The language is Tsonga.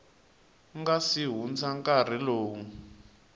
nga si hundza nkarhi lowu